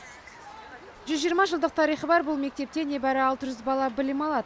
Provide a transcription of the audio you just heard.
жүз жиырма жылдық тарихы бар бұл мектепте небәрі алты жүз бала білім алады